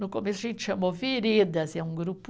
No começo a gente chamou Veredas, é um grupo